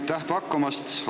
Aitäh pakkumast!